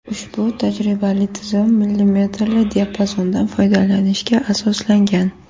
Ushbu tajribaviy tizim millimetrli diapazondan foydalanishga asoslangan.